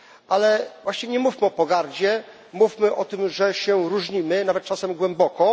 Ale właśnie nie mówmy o pogardzie, mówmy o tym, że się różnimy, nawet czasem głęboko.